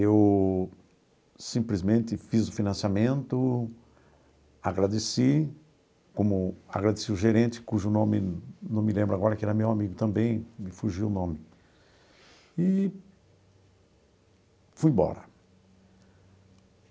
Eu simplesmente fiz o financiamento, agradeci, como agradeci o gerente, cujo nome não me lembro agora, que era meu amigo também, me fugiu o nome, e fui embora.